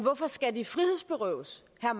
jeg